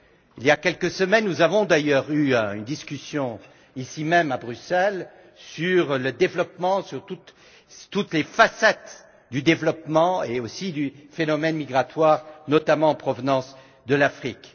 Il y a quelques semaines, nous avons eu une discussion ici même, à Bruxelles, sur le développement, sur toutes les facettes du développement et aussi du phénomène migratoire, notamment en provenance de l'Afrique.